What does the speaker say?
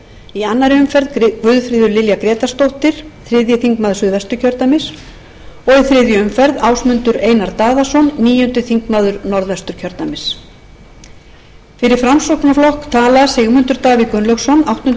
í annarri guðfríður lilja grétarsdóttir þriðji þingmaður suðvesturkjördæmis og í þriðju umferð ásmundur einar daðason níundi þingmaður norðvesturkjördæmis fyrir framsóknarflokk tala sigmundur davíð gunnlaugsson áttundi